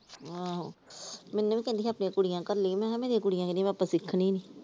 ਆਹੋ ਮੈਨੂੰ ਵੀ ਕਹਿੰਦੀ ਸੀ ਆਪਣੀਆਂ ਕੁੜੀਆਂ ਕੱਲੀ ਮੈ ਕਿਹਾ ਮੇਰੀਆਂ ਕੁੜੀਆਂ ਕਹਿੰਦੀਆਂ ਆਪਾ ਸਿੱਖਣੀ ਨੀ ।